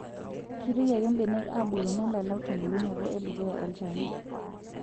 Keitoki ake benek aabulu nelalau tembulunoto enduukuya olchani.